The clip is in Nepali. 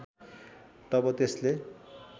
तब त्यसले